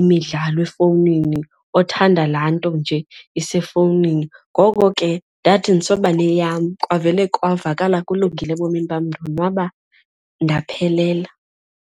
imidlalo efowunini othanda laa nto nje isefowunini. Ngoko ke ndathi ndisobaneyam kwavele kwavakala kulungile ebomini bam ndonwaba ndaphelela.